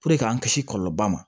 k'an kisi kɔlɔlɔba ma